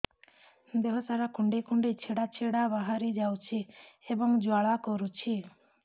ଦେହ ସାରା କୁଣ୍ଡେଇ କୁଣ୍ଡେଇ ଛେଡ଼ା ଛେଡ଼ା ବାହାରି ଯାଉଛି ଏବଂ ଜ୍ୱାଳା କରୁଛି